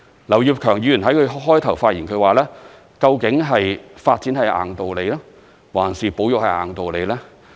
劉業強議員在他一開始發言時說，究竟發展是"硬道理"，還是保育是"硬道理"呢？